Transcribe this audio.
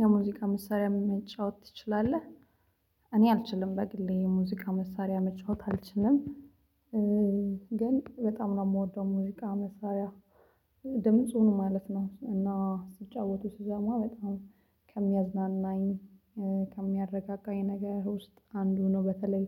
የሙዚቃ መሳሪያ መጫወት ትችላለህ? እኔ አልችልም። በግሌ የሙዚቃ መሳሪያ መጫወት አልችልም። ግን በጣም ነው የምወደው ሙዚቃ መሳሪያ ድምጹን ማለት ነው እና ሲጫወቱ ስሰማ በጣም ከሚያዝናናኝ ከሚያረጋጋኝ ነገር ውስጥ አንዱ ነው። በተለይ